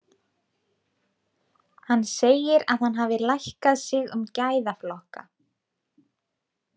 Hann segir að hann hafi lækkað sig um gæðaflokka.